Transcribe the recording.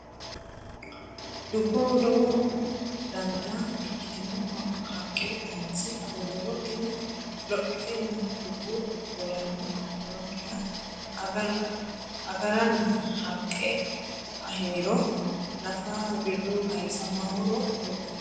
Dubboho lowo danita ikkitino haqqe kayinse aguriro tini lophitenna dubbu dolamme nookkiha agaranna haqqe ahiniro nafa wirro kayisa ma horo uyitanno?